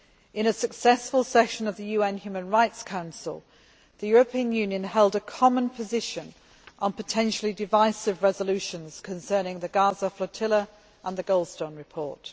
In a successful session of the UN Human Rights Council, the European Union held a common position on potentially divisive resolutions concerning the Gaza flotilla and the Goldstone report.